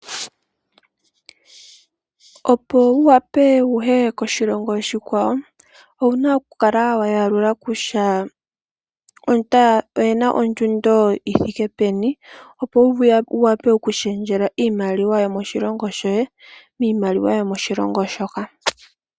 Opo wu wape wuye koshilongo oshikwawo owuna okukala wayalula kutya ointer oyina ondjundo yithike peni opo wu wape okushengela iimaliwa yomoshilongo shoye miimaliwa yomoshilongo shoka.